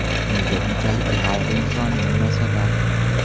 Nega bunchalik g‘ayriinsoniy munosabat?